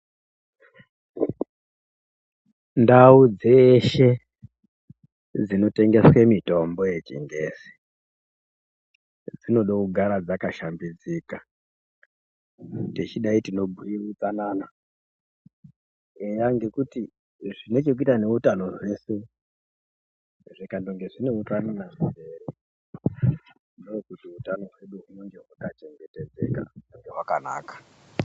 Ndau dzeshe dzinotengeswe mitombo yechingezi dzinoda kugara dzakashambidzika. Techidai tinobhuya utsanana. Eyaa ngekuti zvine chekuita neutano zveshe zvikandonge zvine utsanana. Ndokuti utano hwedu hunenge hwakachengetedzeka uye hwakanaka.